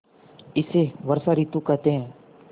इसे वर्षा ॠतु कहते हैं